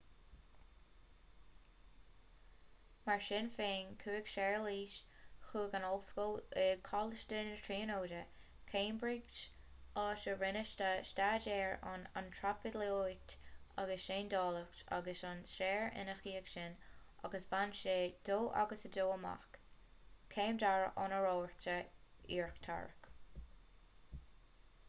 mar sin féin chuaigh séarlas chuig an ollscoil ag coláiste na tríonóide cambridge áit a rinne sé staidéir ar antraipeolaíocht agus seandálaíocht agus ar stair ina dhiaidh sin agus bhain sé 2:2 amach céim dara honóracha íochtarach